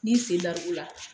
N'i sen darbu la